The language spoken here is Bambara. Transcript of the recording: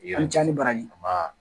An ca ni baraji ban